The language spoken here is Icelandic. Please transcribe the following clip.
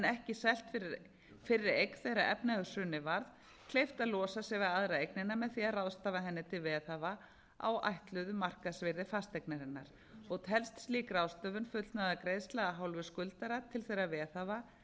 ekki selt fyrri eign þegar efnahagshrunið varð kleift að losa sig við aðra eignina með því að ráðstafa henni til veðhafa á ætluðu markaðsvirði fasteignarinnar og telst slík ráðstöfun fullnaðargreiðsla af hálfu skuldara til þeirra veðhafa